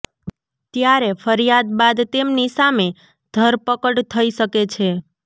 ત્યારે ફરિયાદ બાદ તેમની સામે ધરપકડ થઈ શકે છે